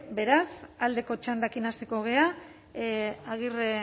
beraz aldeko txandarekin hasiko gara agirre